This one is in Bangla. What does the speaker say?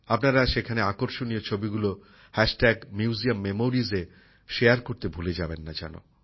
আপনারা সেখানে আকর্ষণীয় ছবিগুলি হ্যাশট্যাগ মিউজিয়াম মেমোরিস এ সকলের সঙ্গে ভাগ করতে ভুলে যাবেন না যেন